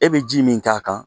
E bɛ ji min k'a kan